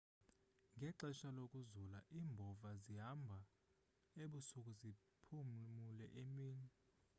ngexesha lokuzula iimbhova zihambha ebusuku ziphumule emini